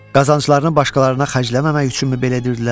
Qazanclarını başqalarına xərcləməmək üçünmü belə edirdilər?